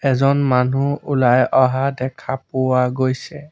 এজন মানুহ ওলাই অহা দেখা পোৱা গৈছে।